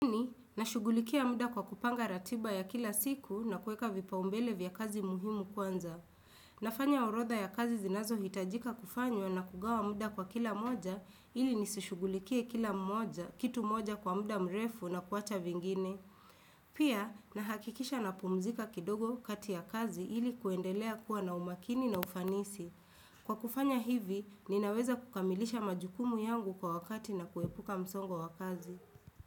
Nashugulikia muda kwa kupanga ratiba ya kila siku na kuweka vipaumbele vya kazi muhimu kwanza. Nafanya orodha ya kazi zinazohitajika kufanywa na kugawa muda kwa kila moja ili nisishugulikie kila moja kitu moja kwa muda mrefu na kuwacha vingine. Pia, nahakikisha napumzika kidogo kati ya kazi ili kuendelea kuwa na umakini na ufanisi. Kwa kufanya hivi, ninaweza kukamilisha majukumu yangu kwa wakati na kuepuka msongo wa kazi.